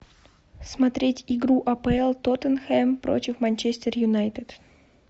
смотреть игру апл тоттенхэм против манчестер юнайтед